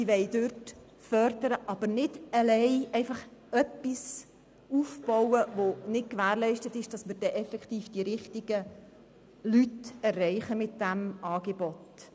Sie will eine Förderung vornehmen, aber sie will nicht einfach etwas aufbauen, bei dem nicht gewährleistet ist, dass damit dann wirklich die richtigen Leute erreicht werden.